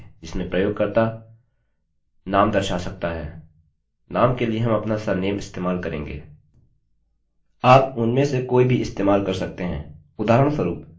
यहाँ हम एक फॉर्मformबनाएँगे जिसमें प्रयोगकर्तायूजरनाम दर्शा सकता है